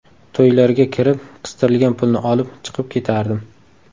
To‘ylarga kirib, qistirilgan pulni olib, chiqib ketardim.